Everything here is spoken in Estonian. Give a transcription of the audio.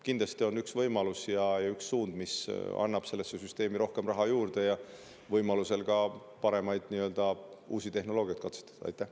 Kindlasti on see üks võimalus ja üks suund, mis annab sellesse süsteemi rohkem raha juurde ning ka võimaluse uut ja paremat tehnoloogiat katsetada.